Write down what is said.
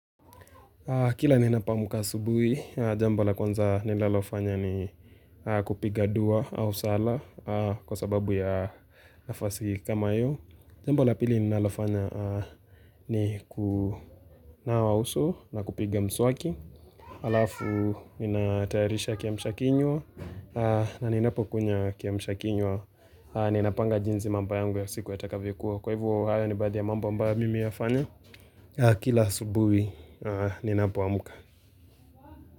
Kila ninapoaka asubuhi, jambo la kwanza nilalofanya ni kupiga dua au sala kwa sababu ya nafasi kama iyo. Jambo la pili nilalofanya ni kunawa uso na kupiga mswaki. Alafu, ninatayarisha kiamsha kinywa na ninapo kunywa kiamsha kinywa Ninapanga jinzi mambo yangu ya siku ya takavokuwa. Kwa hivo, hayo ni baadhi ya mambo ambayo mimi yafanya. Kila asubuhi, ninapo amuka.